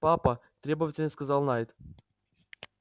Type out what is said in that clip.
папа требовательно сказал найд